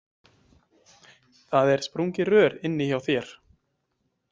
Það er sprungið rör inni hjá þér.